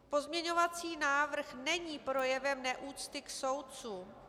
Pozměňovací návrh není projevem neúcty k soudcům.